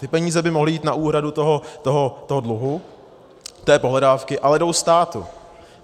Ty peníze by mohly jít na úhradu toho dluhu, té pohledávky, ale jdou státu.